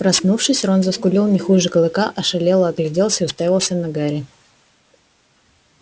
проснувшись рон заскулил не хуже клыка ошалело огляделся и уставился на гарри